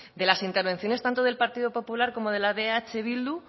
de las intervenciones tanto del partido popular como la de eh bildu